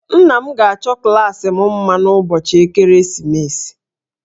Nna m ga-achọ klaasị m mma n'ụbọchị ekeresimesi